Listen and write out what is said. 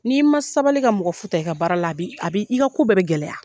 N'i ma sabali ka mɔgɔ fu ta i ka baara la a b'i a b'i ka ko bɛɛ bɛ gɛlɛya